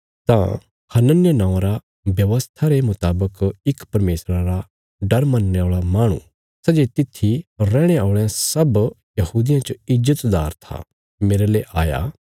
तां हनन्याह नौआं रा व्यवस्था रे मुतावक इक परमेशरा रा डर मनणे औल़ा माहणु सै जे तित्थी रैहणे औल़यां सब यहूदियां च ईज्जतदार था मेरले आया